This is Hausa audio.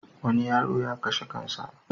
Wani yaro ya kashe kan sa.